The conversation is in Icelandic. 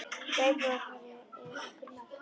Veit að nú hefur verið farið yfir einhver mörk.